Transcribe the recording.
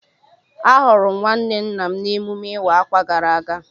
Ahụrụ m nwanne nna m n'emume ịwa ákwà gara aga